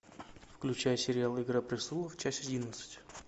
включай сериал игра престолов часть одиннадцать